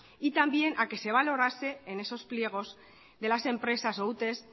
y también a que se valorase en esos pliegos de las empresas o utes